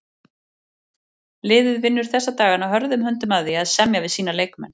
Liðið vinnur þessa dagana hörðum höndum að því að semja við sína leikmenn.